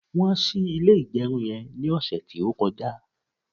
won sì ilé igerun yen ni ọsẹ ti o koja